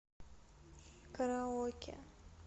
караоке